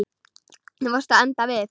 Þú varst að enda við.